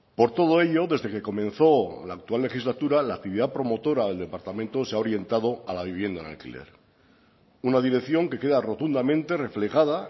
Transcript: por todo ello desde que comenzó la actual legislatura la actividad promotora del departamento se ha orientado a la vivienda en alquiler una dirección que queda rotundamente reflejada